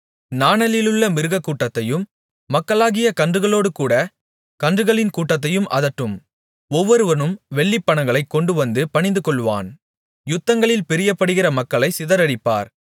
நாணலிலுள்ள மிருககூட்டத்தையும் மக்களாகிய கன்றுகளோடுகூட கன்றுகளின் கூட்டத்தையும் அதட்டும் ஒவ்வொருவனும் வெள்ளிப்பணங்களைக் கொண்டுவந்து பணிந்துகொள்ளுவான் யுத்தங்களில் பிரியப்படுகிற மக்களைச் சிதறடிப்பார்